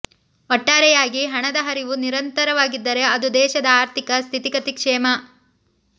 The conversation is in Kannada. ಒಟ್ಟಾರೆಯಾಗಿ ಹಣದ ಹರಿವು ನಿರಂತರವಾಗಿದ್ದರೆ ಅದು ದೇಶದ ಆರ್ಥಿಕ ಸ್ಥಿತಿಗತಿಗೆ ಕ್ಷೇಮ